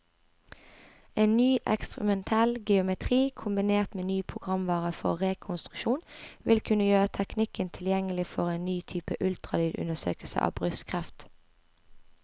En ny eksperimentell geometri, kombinert med ny programvare for rekonstruksjon, vil kunne gjøre teknikken tilgjengelig for en ny type ultralydundersøkelse av brystkreft.